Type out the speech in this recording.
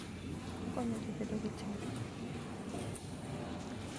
Okonyo ji bedo gi chir.